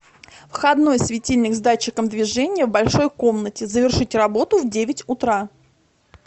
входной светильник с датчиком движения в большой комнате завершить работу в девять утра